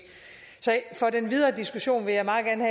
så i den videre diskussion vil jeg meget gerne